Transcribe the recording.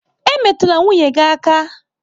Emetụla nwunye gị aka!